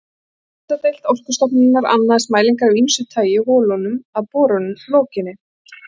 Jarðhitadeild Orkustofnunar annaðist mælingar af ýmsu tagi í holunum að borun lokinni.